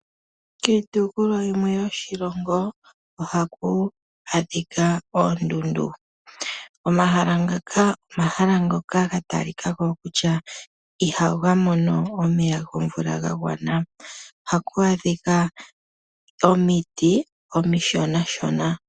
Kiitopolwa yimwe yoshilongo ohaku adhika oondundu. Omahala ngaka omahala ngoka ga talika ko kutya ihaga mono omeya gomvula ga gwana. Ohaku adhika omiti omishonashona.